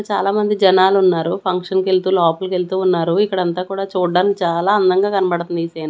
చాలామంది జనాలు ఉన్నారు ఫంక్షన్కి వెళ్తూ లోపలికి వెళ్తూ ఉన్నారు ఇక్కడ అంతా కూడా చూడడానికి చాలా అందంగా కనబడుతుంది ఈ సీన్ .